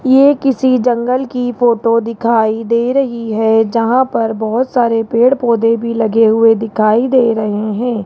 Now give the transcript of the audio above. ये किसी जंगल की फोटो दिखाई दे रही है जहां पर बहुत सारे पेड़ पौधे भी लगे हुए दिखाई दे रहे हैं।